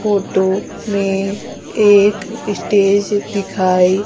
photo में एक stage दिखाई--